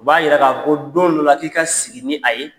O b'a yira ko don dɔ la k'i ka sigi ni a ye